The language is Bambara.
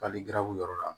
Hali garabu yɔrɔ la